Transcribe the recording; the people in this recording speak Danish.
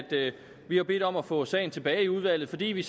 vi har bedt om at få sagen tilbage i udvalget fordi vi